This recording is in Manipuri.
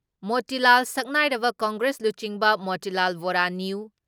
ꯃꯣꯇꯤꯂꯥꯜ ꯁꯛꯅꯥꯏꯔꯕ ꯀꯪꯒ꯭ꯔꯦꯁ ꯂꯨꯆꯤꯡꯕ ꯃꯣꯇꯤꯂꯥꯜ ꯕꯣꯔꯥ ꯅ꯭ꯌꯨ